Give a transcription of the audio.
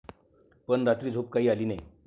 पण रात्री झोप काही आली नाही.